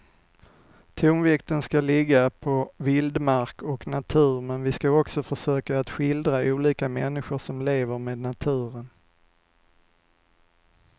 Tonvikten ska ligga på vildmark och natur men vi ska också försöka att skildra olika människor som lever med naturen.